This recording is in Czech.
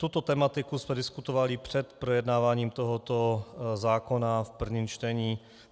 Tuto tematiku jsme diskutovali před projednáváním tohoto zákona v prvním čtení.